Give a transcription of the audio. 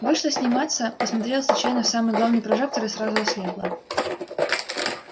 вышла сниматься посмотрела случайно в самый главный прожектор и сразу ослепла